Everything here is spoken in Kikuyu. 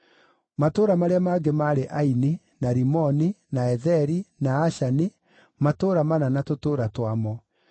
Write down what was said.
Matũũra marĩa mangĩ maarĩ Aini, na Rimoni, na Etheri, na Ashani, matũũra mana na tũtũũra twamo,